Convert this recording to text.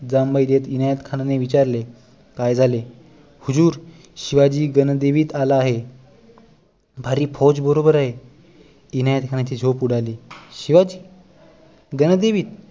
जांभई देत इनायत खानने विचारले काय झाले हुजूर शिवाजी गणदेवीत आला आहे भारी फौज बरोबर आहे इनायत खानची झोप उडाली शिवा गणदेवी